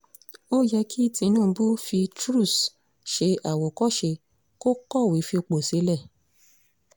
ó yẹ kí tinubu fi cs] truss ṣe àwòkọ́ṣe kó kọ̀wé fipò sílẹ̀